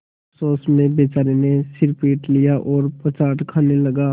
अफसोस में बेचारे ने सिर पीट लिया और पछाड़ खाने लगा